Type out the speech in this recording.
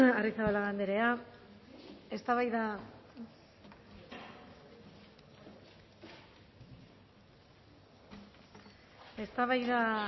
arrizabalaga anderea eztabaida